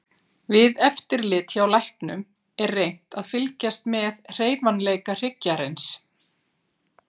Við eftirlit hjá læknum er reynt að fylgjast með hreyfanleika hryggjarins.